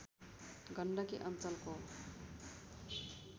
गण्डकी अञ्चलको